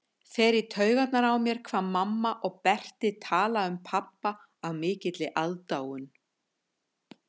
Fer í taugarnar á mér hvað mamma og Berti tala um pabba af mikilli aðdáun.